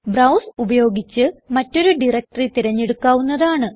browse ഉപയോഗിച്ച് മറ്റൊരു directory തിരഞ്ഞെടുക്കാവുന്നതാണ്